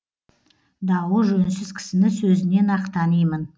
дауы жөнсіз кісіні сөзінен ақ танимын